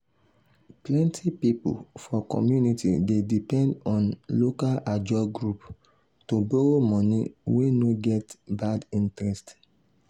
plenty people for community dey depend on local ajo group to borrow money wey no get bad interest.